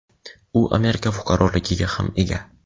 u Amerika fuqaroligiga ham ega.